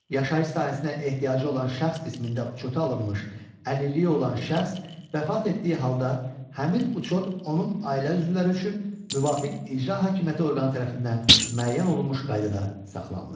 Yaşayış sahəsinə ehtiyacı olan şəxs qismində uçota alınmış əlilliyi olan şəxs vəfat etdiyi halda həmin uçot onun ailə üzvləri üçün müvafiq icra hakimiyyəti orqanı tərəfindən müəyyən olunmuş qaydada saxlanılır.